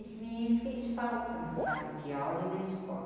Esse menino fez falta na sala de aula e na escola.